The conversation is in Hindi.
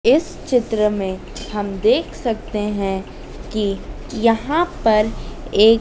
इस चित्र में हम देख सकते हैं कि यहां पर एक--